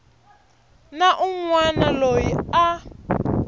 na un wana loyi a